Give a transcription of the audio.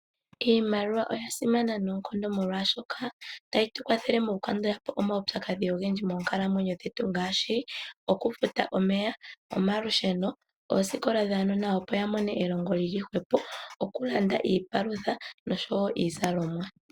Iimaliwa oya simana noonkondo molwaashoka, otayi tu kwathele mokukandula po omaupyakadhi ogendji moonkalamwenyo dhetu ngaashi, okufuta omeya, omalusheno, oosikola dhaanona opo ya mone elongo lili hwepo, okulanda iipalutha nosho wo iizalomwa.